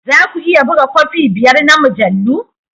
Za ku iya buga kofi biyar na mujallu?